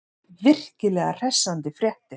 Virkilega hressandi fréttir.